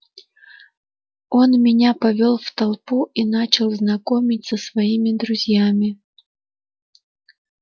он меня повёл в толпу и начал знакомить со своими друзьями